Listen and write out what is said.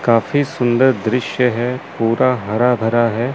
काफी सुंदर दृश्य है पूरा हरा भरा है।